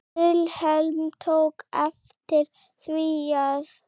Vilhelm tók eftir því að